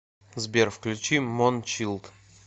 сбер включи мончилд